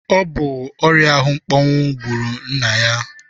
Ọ bụ ọrịa ahụmkpọnwụ gbụrụ nna ya.